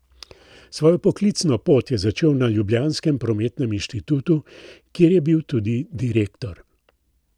Svojo poklicno pot je začel na ljubljanskem Prometnem inštitutu, kjer je bil tudi direktor.